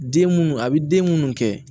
Den munnu a bi den munnu kɛ